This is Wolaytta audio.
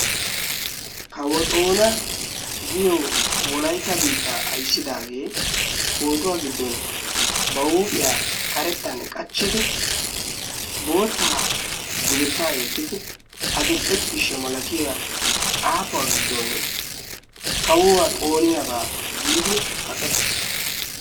Kawo xoona giyo wolaita biittaa aissidaagee pootuwaa giddon ba huuphiyaa karettan qachchidi boottaa dugettaa yeeddidi adil"e ciishsha malatiya xaafuwaa giddon kawuwaa xooniyaagaa giidi kaqettiis.